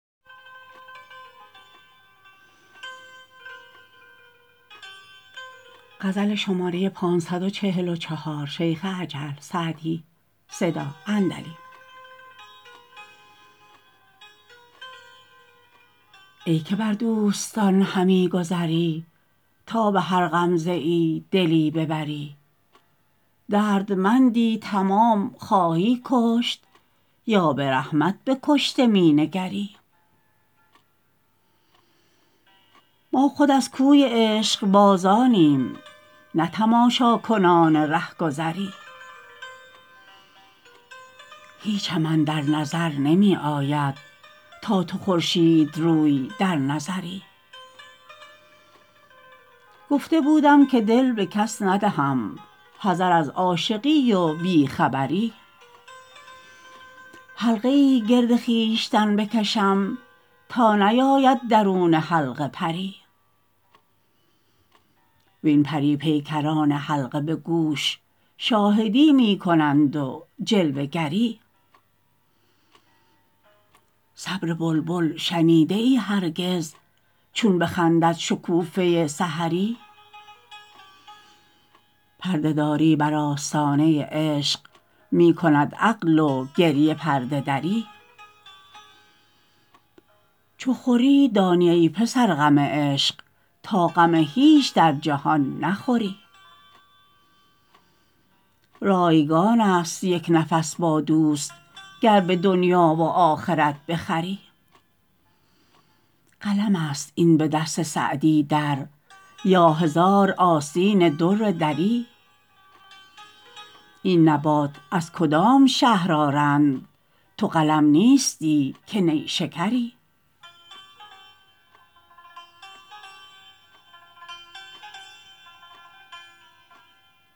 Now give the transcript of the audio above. ای که بر دوستان همی گذری تا به هر غمزه ای دلی ببری دردمندی تمام خواهی کشت یا به رحمت به کشته می نگری ما خود از کوی عشقبازانیم نه تماشاکنان رهگذری هیچم اندر نظر نمی آید تا تو خورشیدروی در نظری گفته بودم که دل به کس ندهم حذر از عاشقی و بی خبری حلقه ای گرد خویشتن بکشم تا نیاید درون حلقه پری وین پری پیکران حلقه به گوش شاهدی می کنند و جلوه گری صبر بلبل شنیده ای هرگز چون بخندد شکوفه سحری پرده داری بر آستانه عشق می کند عقل و گریه پرده دری چو خوری دانی ای پسر غم عشق تا غم هیچ در جهان نخوری رایگان است یک نفس با دوست گر به دنیا و آخرت بخری قلم است این به دست سعدی در یا هزار آستین در دری این نبات از کدام شهر آرند تو قلم نیستی که نیشکری